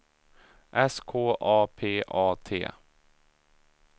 S K A P A T